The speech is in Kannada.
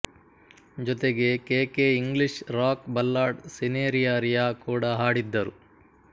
ಜೊತೆಗೆ K K English rock ballad ಸಿನೆರಿಯಾರಿಯಾ ಕೂಡ ಹಾಡಿದ್ದರು